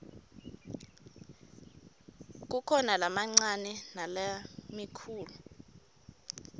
kukhona lamancane nalamikhulu